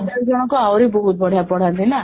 ଚାରି ଜଣଙ୍କୁ ଆହୁରି ବହୁତ ବଢିଆ ପଢ଼ାନ୍ତି ନା?